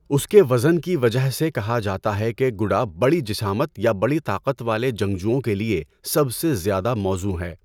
اس کے وزن کی وجہ سے، کہا جاتا ہے کہ گڈا بڑی جسامت یا بڑی طاقت والے جنگجوؤں کے لیے سب سے زیادہ موزوں ہے۔